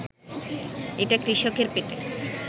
এটা কৃষকের পেটে